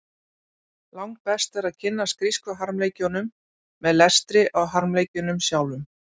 Langbest er að kynnast grísku harmleikjunum með lestri á harmleikjunum sjálfum.